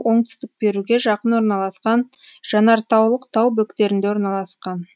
оңтүстік перуге жақын орналасқан жанартаулық тау бөктерінде орналасқан